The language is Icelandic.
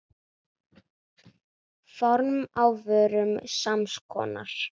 Form á vörum sams konar.